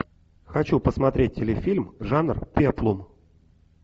хочу посмотреть телефильм жанр пеплум